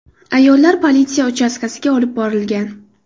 Ayollar politsiya uchastkasiga olib borilgan.